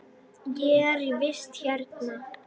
Ég er í vist hérna.